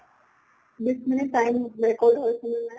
বিছ minute time record হৈছে নে নাই?